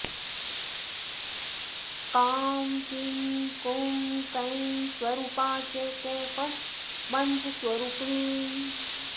काँ कीं कूँ कैं स्वरूपा च कः फट् मन्त्रस्वरूपिणी